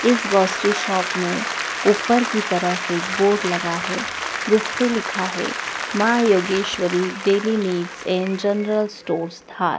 इस grocery shop में ऊपर की तरफ एक बोर्ड लगा है जिस पे लिखा है मां योगवशरी daily needs and general store धार ।